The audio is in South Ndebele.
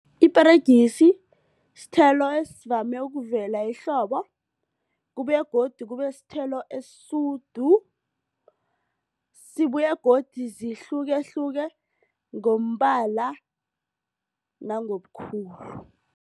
Iperegisi sithelo esivame ukuvela ehlobo kubuye godu kubesithelo esisudu. Sibuye godu zihlukehluke ngombala nangobukhulu.